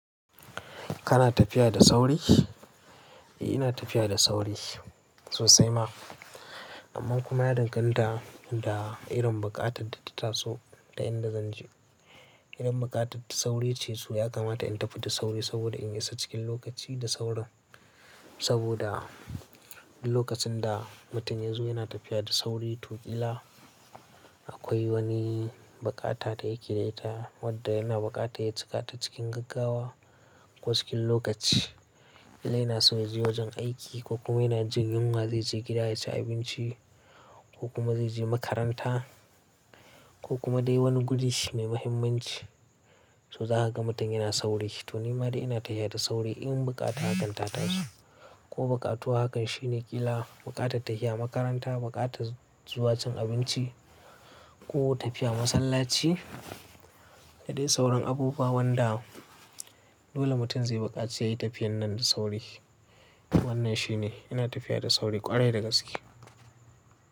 Kana tafiya da sauri? Eh ina tafiya da sauri sosai ma. Amman kuma yana danganta da irin buƙatar da ta taso da inda zanje. Irin buƙatar da sauri ce su ya kamata in tafi da sauri saboda in isa cikin lokaci da saurin. Saboda lokacin da mutum ya zo yana tafiya da sauri to ƙila akwai wani buƙata da yake da ita wadda yana buƙata ya cika ta cikin gaggawa ko cikin lokaci. Yi naso je wajen aiki ko kuma yana jin yunwa zai je gida ya ci abinci ko kuma zai je makaranta ko kuma dai wani guri shine muhimmanci. So za a ga mutum yana sauri. To nima dai ina tafiya da sauri in buƙata hakan ta taso ko buƙatuwa hakan shine ƙila buƙatar tafiya makaranta, buƙatar zuwa cin abinci ko tafiya masallaci da dai sauran abubuwan da dole mutum zai buƙaci yayi tafiyan nan da sauri. Wannan shi ne ina tafiya da sauri ƙwarai da gaske.